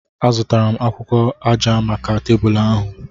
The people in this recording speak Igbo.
Azụtara m akwụkwọ aja maka tebụl ahu.